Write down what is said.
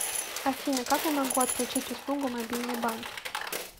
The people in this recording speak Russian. афина как я могу отключить услугу мобильный банк